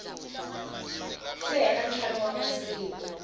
si hela ntlhanu wa masiku